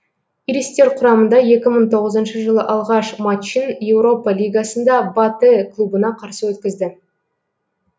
иристер құрамында екі мың тоғызыншы жылы алғаш матчын еуропа лигасында батэ клубына қарсы өткізді